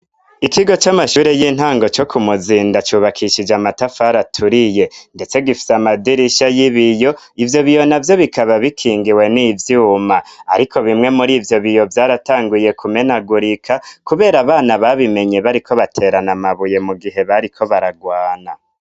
Ikigo c'amashure y'intango co ku muzinda cubakishije amatafari aturiye ndetse gifite amadirisha y'ibiyo ,ivyo biyo navyo bikaba bikingiwe n'ivyuma ariko bimwe muri ivyo biyo vyaratanguye kumenagurika kubera abana babimenye bariko baterana amabuye mu gihe bariko baragwana.